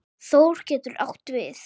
Þór getur átt við